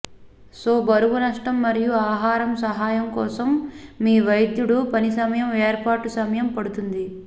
so బరువు నష్టం మరియు ఆహారం సహాయం కోసం మీ వైద్యుడు పని సమయం ఏర్పాటు సమయం పడుతుంది